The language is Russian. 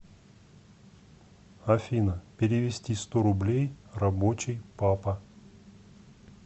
афина перевести сто рублей рабочий папа